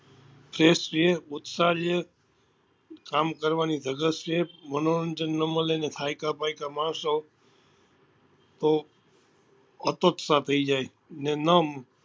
જે છે ઉત્સાહ છે કામ કરવા ની ધગસ છે મનોરંજન નાં મળે તો થાક્યા પાક્યા માણસો બઉ અતોત્સાહ થઇ જાય ને ના